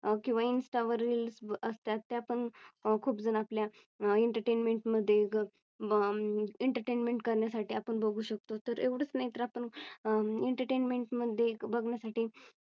किंवा Insta वर Reels असतात त्या पण खूप जण आपल्या Entertainment मध्ये अं EntertainmentEntertainment करण्यासाठी आपण बघू शकतो तर एवढच नाही तर आपण Entertainment मध्ये बघण्यासाठी